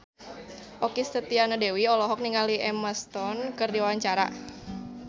Okky Setiana Dewi olohok ningali Emma Stone keur diwawancara